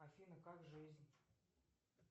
афина как жизнь